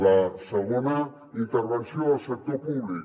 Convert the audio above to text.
la segona intervenció del sector públic